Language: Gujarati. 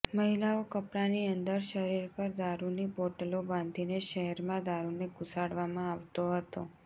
મહિલાઓ કપડાની અંદર શરીર પર દારૂની બોટલો બાંધીને શહેરમાં દારૂને ઘુસાડવામાં આવતો હતો